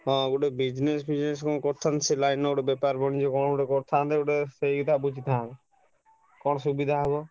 ହଁ ଗୁଟେ business ଫିଯଣେଶ କଣ କରୁଛନ୍ତି ସେ ଲାଇନ ରେ ଗୁଟେ ବେପାର ବଢ଼ିକି କଣ ଗୁଟେ କରିଥାନ୍ତେ ଗୁଟେ ସେଇ କଥା ବୁଝିଥାନ୍ତି କଣ ସୁବିଧା ହବ?